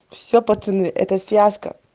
все пацаны это фиаско